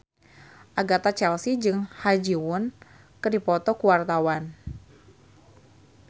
Agatha Chelsea jeung Ha Ji Won keur dipoto ku wartawan